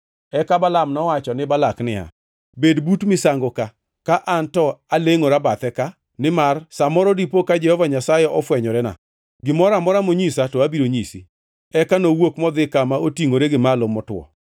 Eka Balaam nowacho ne Balak niya, “Bed but misango ka, ka an to alengʼora e bathe ka; nimar sa moro dipo ka Jehova Nyasaye ofwenyorena. Gimoro amora monyisa to abiro nyisi.” Eka nowuok modhi kama otingʼore gi malo motwo.